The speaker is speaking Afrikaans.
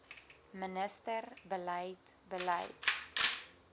minister beleid beleid